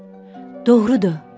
Doğrudur, ayrılıram.